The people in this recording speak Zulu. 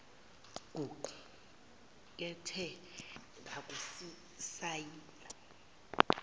kuqu kethe ngokusisayina